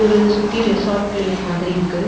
இது சுத்தி resort place மாதிரி இருக்கு.